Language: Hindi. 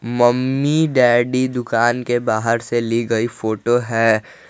मम्मी डैडी दुकान के बाहर से ली गई फोटो है।